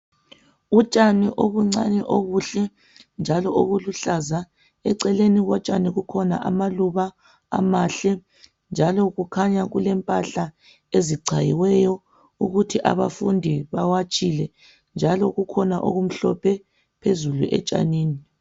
Utshani obuncani obuhle njalo obuluhlaza. Eceleni kotshani kukhona amaluba amahle, njalo kukhanya kulempahla ezichayiweyo ukuthi abafundi bawatshile njalo kukhona okumhlophe phezulu etshanini.